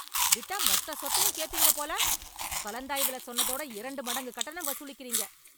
விட்டா மொத்த சொத்தையும் கேப்பீங்க போல, கலந்தாய்வுல சொன்னதோட இரண்டு மடங்கு கட்டணம் வசூலிக்கிறீங்க.